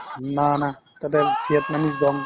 উম্, না না তাতে vietnam